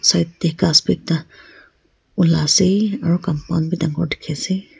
side tae ghas bi ekta olaase aro compound bi dangor dikhiase.